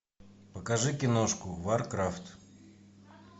покажи киношку варкрафт